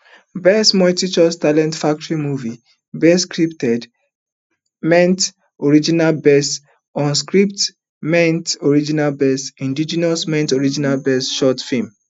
best multichoice talent factory movie best scripted ment original best unscripted ment original best indigenous ment original best short film